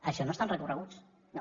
això no estan recorreguts no no